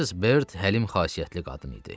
Missis Bert həlim xasiyyətli qadın idi.